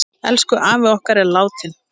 Elsku afi okkar er dáinn.